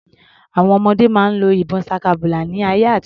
Àwọn ọdẹ máa ń lo ìbọn ṣakabùlà ní ayé àtijó.